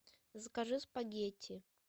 закажи спагетти